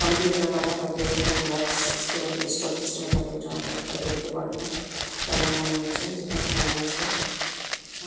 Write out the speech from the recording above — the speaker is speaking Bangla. কম্পিউটার রাখা থাকে এবং বক্স সিস্টেম - এ ডেস্কটপ সিস্টেম- এ থাকে একজন ওপর টা দেখতে পারে না। তেমন মনে হচ্ছে যেখানে ফ্যান আছে